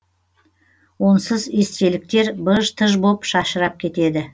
онсыз естеліктер быж тыж боп шашырап кетеді